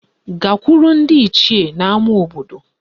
Gakwuru ndị Ichie n'ama obodo